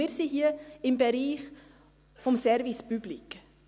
Und wir befinden uns hier im Bereich des Service Public.